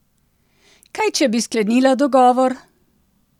Kaj če bi sklenila dogovor?